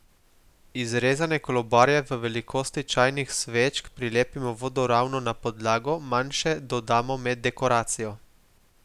Izrezane kolobarje v velikosti čajnih svečk prilepimo vodoravno na podlago, manjše dodamo med dekoracijo.